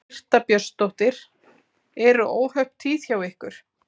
Birta Björnsdóttir: Eru óhöpp tíð hjá ykkur?